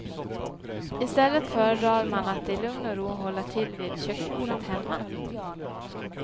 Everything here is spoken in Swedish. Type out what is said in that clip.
I stället föredrar man att i lugn och ro hålla till vid köksbordet hemma.